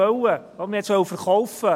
Man wollte es verkaufen.